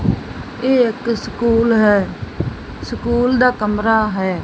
ਇਹ ਇੱਕ ਸਕੂਲ਼ ਹੈ ਸਕੂਲ ਦਾ ਕਮਰਾ ਹੈ।